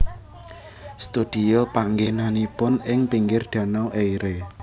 Studio panggènanipun ing pinggir Danau Eire